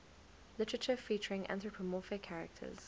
literature featuring anthropomorphic characters